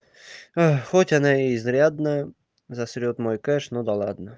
а хоть она изрядно засрёт мой кэш ну да ладно